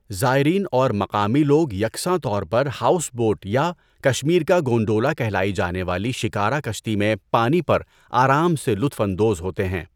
زائرین اور مقامی لوگ یکساں طور پر ہاؤس بوٹ یا 'کشمیر کا گونڈولا' کہلائی جانے والی شکارا کشتی میں پانی پر آرام سے لطف اندوز ہوتے ہیں۔